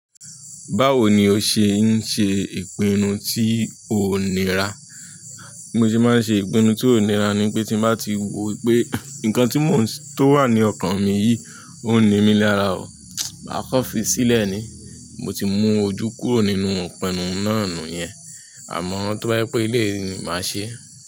Báwo ni o ṣe ń ṣe ìpinnu tí ó nira? Bí mo ṣeaa ń ṣe ìpinnu tí ó nira ni pé tin bati wo pé ǹkan tó wà ni ọkan mi yìí ó ń ní mi lára oo, máa kan fi sílẹ̀ ni mo ti mú ojú kúrò nínú ipinnú náà nu yẹn, àmọ́ tó bá yí pé ilé ni màá ṣe.